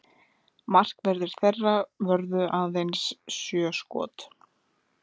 Markverðir þeirra vörðu aðeins sjö skot